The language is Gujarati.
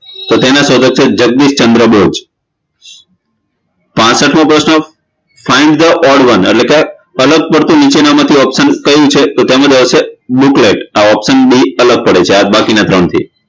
તો તેના શોધક છે જગદીશચંદ્રબોજ પાસઠમો પ્રશ્ન find the odd one એટલે કે અલગ પડતું નીચેનામાંથી option કયું છે book late option D અલગ પડે છે આ બાકીના ત્રણથી